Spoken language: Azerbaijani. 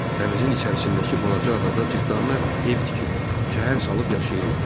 Dənizin içərisindəki balaca adada cırtdanlar ev tikib, şəhər salıb yaşayırlar.